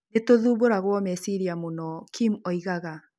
Nĩ tũthumbũragwo meciria mũno" Kim oigaga.